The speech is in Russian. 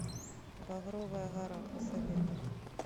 багровая гора посоветуй мне